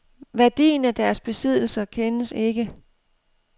Værdien af deres besiddelser kendes ikke.